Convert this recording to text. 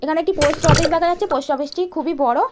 এখানে একটি post office দেখা যাচ্ছে পোস্ট অফিস -টি খুবই বড়।